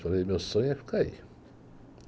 Falei, meu sonho é ficar aí.